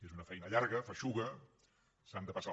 és una feina llarga feixuga s’han de passar